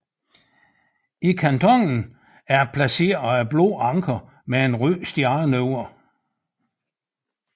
I kantonen er der placeret et blåt anker med en rød stjerne over